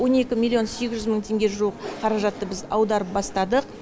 он екі миллион сегіз жүз мың теңге жуық қаражатты біз ауадарып бастадық